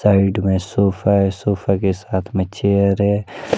Side में sofa है sofa के साथ में चेयर है।